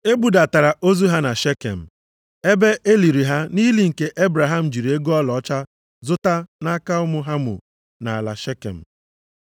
E budatara ozu ha na Shekem, ebe e liri ha nʼili nke Ebraham jiri ego ọlaọcha zụta nʼaka ụmụ Hamọ nʼala Shekem.